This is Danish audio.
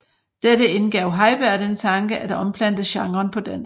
Dette indgav Heiberg den tanke at omplante genren på dansk